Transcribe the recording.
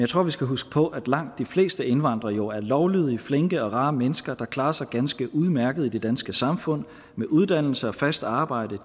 tror vi skal huske på at langt de fleste indvandrere jo er lovlydige flinke og rare mennesker der klarer sig ganske udmærket i det danske samfund med uddannelse og fast arbejde